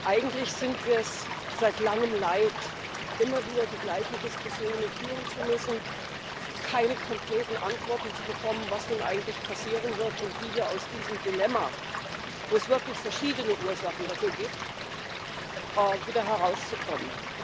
Eigentlich sind wir es seit Langem leid, immer wieder die gleichen Diskussionen führen zu müssen, keine konkreten Antworten zu bekommen, was nun eigentlich passieren wird und wie wir aus diesem Dilemma für das es wirklich verschiedene Ursachen gibt wieder herauskommen.